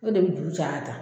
O de bɛ juru caya tan